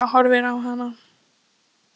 Hann stendur kyrr og horfir á hana.